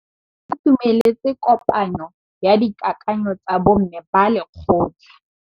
Ba itumeletse kôpanyo ya dikakanyô tsa bo mme ba lekgotla.